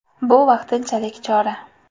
Bu vaqtinchalik chora.